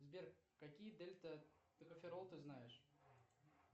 сбер какие дельта токоферол ты знаешь